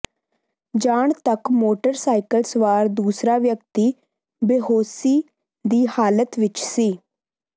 ਜਾਣ ਤੱਕ motor cycle ਸਵਾਰ ਦੁਸਰਾ ਵਿਅਕਤੀ ਬੇਹੌਸੀ ਦੀ ਹਾਲਤ ਵਿਚ ਸੀ